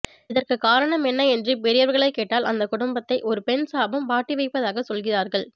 இதற்கு காரணம் என்ன என்று பெரியவர்களை கேட்டால் அந்த குடும்பத்தை ஒரு பெண் சாபம் வாட்டிவதைப்பதாக சொல்கிறார்கள்